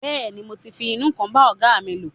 Bẹ́ẹ̀ni, mo ti ń fi inú kan bá ọ̀gáa mi lò.